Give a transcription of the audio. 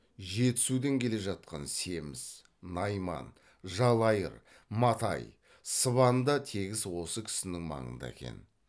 жетісудан келе жатқан семіз найман жалайыр матай сыбан да тегіс осы кісінің маңында екен